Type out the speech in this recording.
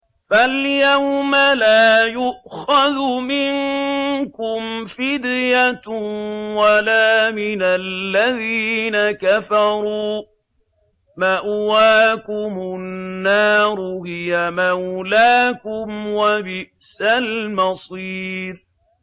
فَالْيَوْمَ لَا يُؤْخَذُ مِنكُمْ فِدْيَةٌ وَلَا مِنَ الَّذِينَ كَفَرُوا ۚ مَأْوَاكُمُ النَّارُ ۖ هِيَ مَوْلَاكُمْ ۖ وَبِئْسَ الْمَصِيرُ